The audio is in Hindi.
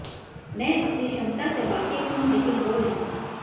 मैं अपनी क्षमता से वाकिफ हूं लेकिन वो नहीं